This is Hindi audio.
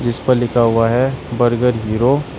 इस पर लिखा हुआ है बर्गर हीरो --